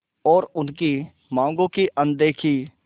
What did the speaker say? और उनकी मांगों की अनदेखी